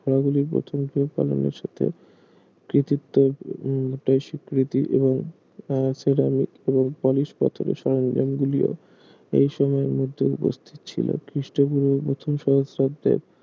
ঘোড়াগুলির প্রথম পালনের সাথে কৃতিত্ব উম স্বীকৃতি এবং আহ সিরামিক এবং পলিশ পাথরের সরঞ্জাম গুলিও এই সময়ের মধ্যে উপস্থিত ছিল খ্রিস্টপূর্ব প্রথম সহস্রাব্দে